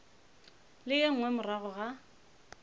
le ye nngwe morago ga